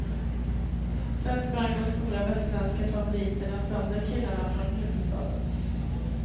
Sen sprang de stora västsvenska favoriterna sönder killarna från huvudstaden.